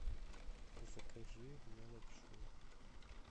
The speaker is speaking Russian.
закажи мне лапшу